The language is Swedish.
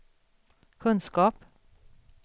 kunskap